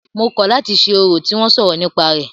Mo kọ̀ láti ṣe orò tí wọ́n sọ̀rọ̀ nípa rẹ̀.